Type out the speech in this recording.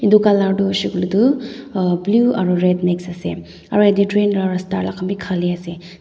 edu colour tu hoishey koilae tu blue aru red mix ase aru yatae train la rasta alak khan bi khali ase.